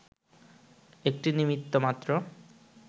একটি নিমিত্ত মাত্র